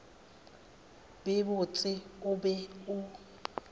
be botse o be o